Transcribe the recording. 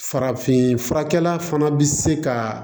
Farafin furakɛla fana bi se ka